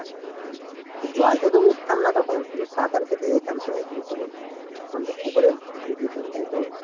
হ্যাঁ জল থেকে তো উঠতাম না তখন শুধু সাঁতার কেটে যেতাম তো পুকুরে তখন তো পুকুরে ডুব দিতাম তাইতো?